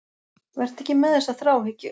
Vertu ekki með þessa þráhyggju.